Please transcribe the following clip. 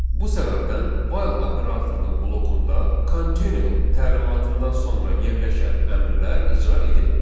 Bu səbəbdən while operatorunun blokunda continue təlimatından sonra yerləşən əmrlər icra edilmir.